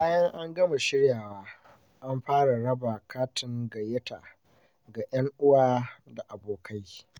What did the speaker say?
Bayan an gama shiryawa, an fara raba katin gayyata ga ‘yan uwa da abokai.